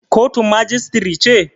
Kotun majistire ce?